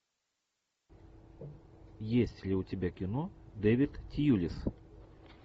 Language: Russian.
есть ли у тебя кино дэвид тьюлис